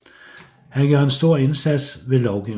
Han gjorde en stor indsats ved lovgivningen